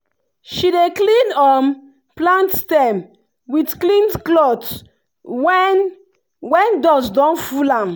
she dey clean um plant stem with clean cloth when when dust don full am.